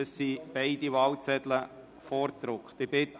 Beide Wahlzettel sind vorgedruckt.